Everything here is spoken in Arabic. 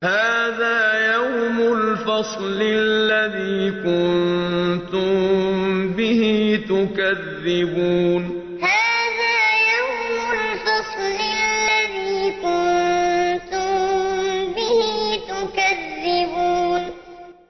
هَٰذَا يَوْمُ الْفَصْلِ الَّذِي كُنتُم بِهِ تُكَذِّبُونَ هَٰذَا يَوْمُ الْفَصْلِ الَّذِي كُنتُم بِهِ تُكَذِّبُونَ